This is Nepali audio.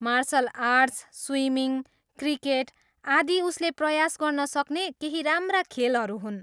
मार्सल आर्ट्स, स्विमिङ, क्रिकेट, आदि उसले प्रयास गर्न सक्ने केही राम्रा खेलहरू हुन्।